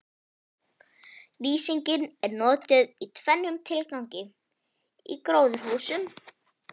Lýsing er notuð í tvennum tilgangi í gróðurhúsum.